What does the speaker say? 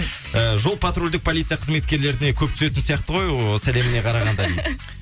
і жол патрульдік полиция қызметкерлеріне көп түсетін сияқты ғой ыыы сәлеміне қарағанда дейді